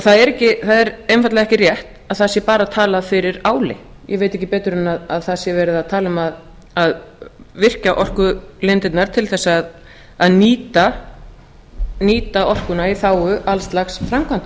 það er einfaldlega ekki rétt að það sé bara talað fyrir áli ég veit ekki betur en það sé verið að tala um að virkja orkulindirnar til þess að nýta orkuna í þágu alls lags framkvæmda